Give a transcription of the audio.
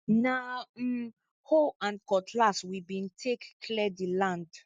na um hoe and cutlass we bin take clear di land